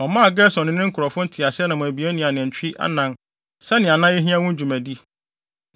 Ɔmaa Gerson ne ne nkurɔfo nteaseɛnam abien ne anantwi anan sɛnea na ehia ma wɔn dwumadi,